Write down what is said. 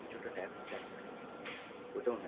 কিছু একটা TAX, TAX থাকে, ওটা ও নেয়।